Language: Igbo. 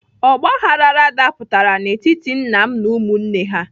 Ọgbaghrara dapụtara n'etiti nna m na ụmụnne ha.